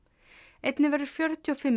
einnig verða fjörutíu og fimm